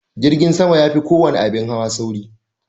Jirgin sama ya fi kowane abin hawa sauri.